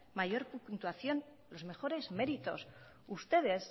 mayor puntuación los mejores méritos ustedes